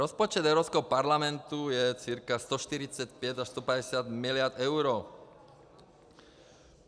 Rozpočet Evropského parlamentu je cca 145 až 150 miliard eur.